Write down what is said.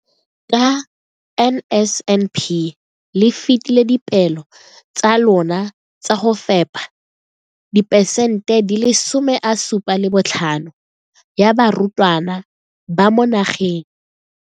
Ka NSNP le fetile dipeelo tsa lona tsa go fepa masome a supa le botlhano a diperesente ya barutwana ba mo nageng.